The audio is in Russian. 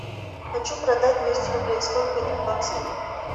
хочу продать двести рублей сколько это в баксах